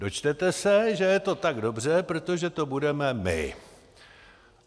Dočtete se, že je to tak dobře, protože to budeme my.